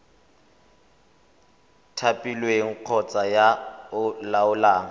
thapilweng kgotsa yo o laolang